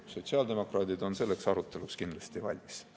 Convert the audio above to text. Sotsiaaldemokraadid on selleks aruteluks kindlasti valmis.